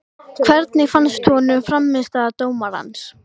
Hvernig fannst honum frammistaða dómarans?